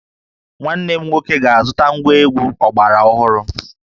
Nwanne m nwoke ga-azụta ngwa egwu ọgbara ọhụrụ